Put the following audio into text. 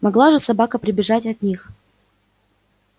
могла же собака прибежать от них